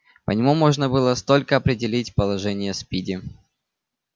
по нему можно было столько определить положение спиди